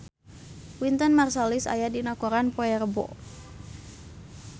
Wynton Marsalis aya dina koran poe Rebo